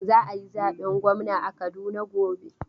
Za a yi zaben gwamna a Kaduna gob.